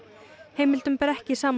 heimildum ber ekki saman